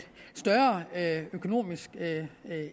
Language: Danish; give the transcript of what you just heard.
større økonomisk